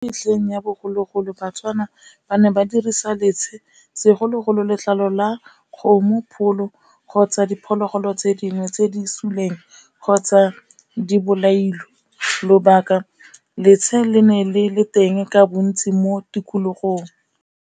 Metlheng ya bogologolo baTswana ba ne ba dirisa letshe, segologolo letlalo la kgomo, pholo kgotsa diphologolo tse dingwe tse di suleng kgotsa di bolailwe, lobaka letshe le ne le le teng ka bontsi mo tikologong.